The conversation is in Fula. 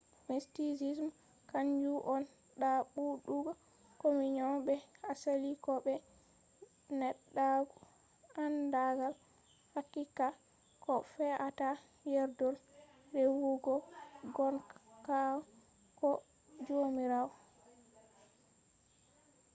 mysticism kanju on ɗaɓɓutugo communion be asali ko be neɗɗaku andagal haqiqa ko fe’atta yerdol rewugo gongaku ko jomirawo